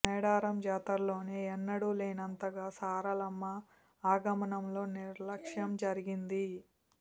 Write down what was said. మేడారం జాతరలోనే ఎన్నడూ లేనంతగా సారలమ్మ ఆగమనంలో నిర్లక్ష్యం జరిగింది